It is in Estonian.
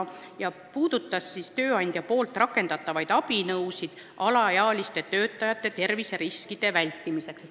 See punkt puudutab tööandja rakendatavaid abinõusid alaealiste töötajate terviseriskide vältimiseks.